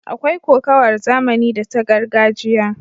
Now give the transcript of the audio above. Akwai kokawar zamani da ta gargajiya.